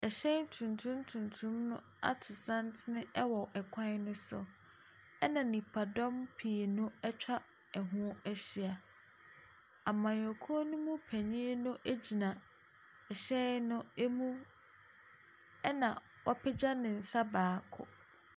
Mmofra bebree bi wɔ beaeɛ bi a wɔredi agoro. Na apata kɛseɛ bi nso si wɔn so . Na mmofra no mu bebree no a yɛ Abrɔfo. Na wɔhyehyɛ ataade soro ne fam. Na ɛfam hɔ nyinaa ahosuo yɛ ahabanmono.